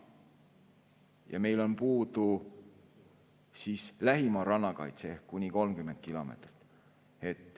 Ja meil on puudu lühimaa rannakaitse ehk kuni 30 kilomeetrit.